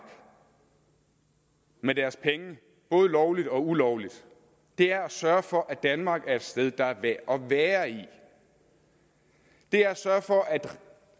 med deres penge både lovligt og ulovligt er at sørge for at danmark er et sted der er værd at være i det er at sørge for at